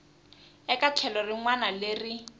eka tlhelo rin wana leri